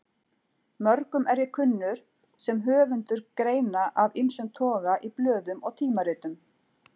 Mörgum er ég kunnur sem höfundur greina af ýmsum toga í blöðum og tímaritum.